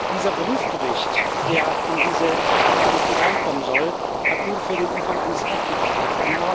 Dieser Prüfbericht, der in diese Datenbanken hineinkommen soll, hat ungefähr den Umfang eines Aktenordners.